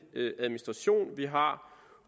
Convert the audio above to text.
administration vi har